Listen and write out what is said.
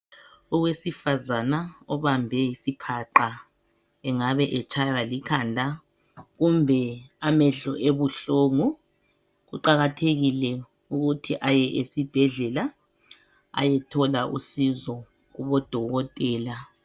Owesifazana obambe isihaqa engabe etshwaya likhanda kumbe amehlo ebuhlungu kuqakathekile ukuthi aye esibhedlela ayethola usizo kubodokotela.